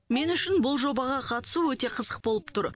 мен үшін бұл жобаға қатысу өте қызық болып тұр